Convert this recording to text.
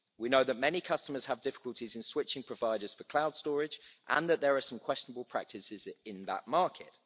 We know that many customers have difficulties in switching providers for cloud storage and that there are some questionable practices in that market.